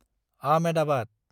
Ahmedabad